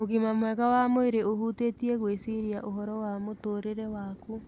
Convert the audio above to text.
Ũgima mwega wa mwĩrĩ ũhutĩtie gwĩciria ũhoro wa mũtũũrĩre waku.